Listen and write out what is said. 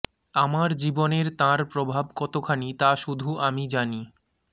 আমার জীবনের তাঁর প্রভাব কতখানি তা শুধু আমি জানি